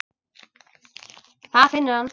Það finnur hann.